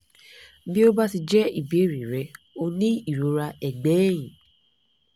bí ó bá ti jẹ́ ìbéèrè rẹ o ní ìrora ẹ̀gbẹ́ ẹ̀yìn